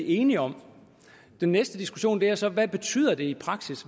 enige om den næste diskussion er så hvad det betyder i praksis